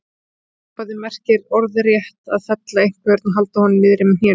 Orðasambandið merkir orðrétt að fella einhvern og halda honum niðri með hnénu.